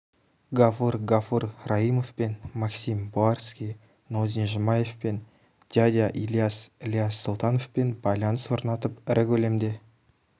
гафур гафур раіимовпен максим буіарский нозин жұмаевпен дядя ильяс ілияс сұлтановпен байланыс орнатып ірі көлемде